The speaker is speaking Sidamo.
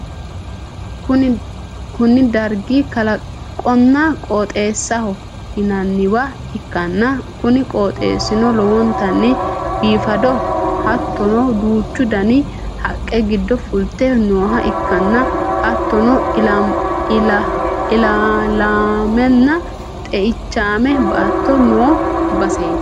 kuni dargi kalaqonna qooxeesaho yinanniwa ikkana, kuni qooxeessino lowontanni biifadoho hattono, duuchu dani haqqe giddo fulte nooha ikkanna, hattono, ilaalaamenna xeichaame baatto no baseeti.